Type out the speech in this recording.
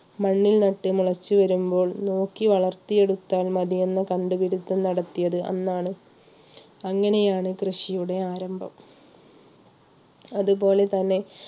മണ്ണിൽ നട്ടു മുളച്ചു വരുമ്പോൾ നോക്കി വളർത്തിയെടുത്താൽ മതിയെന്ന കണ്ടുപിടിത്തം നടത്തിയത് അന്നാണ് അങ്ങനെയാണ് കൃഷിയുടെ ആരംഭം അതുപോലെതന്നെ